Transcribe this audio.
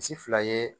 Misi fila ye